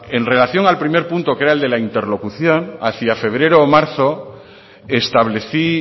en relación al primer punto que era el de la interlocución hacia febrero o marzo establecí